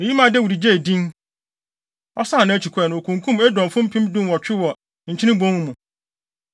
Eyi maa Dawid gyee din. Ɔsan nʼakyi kɔe no, okunkum Edomfo mpem dunwɔtwe wɔ Nkyene Bon mu.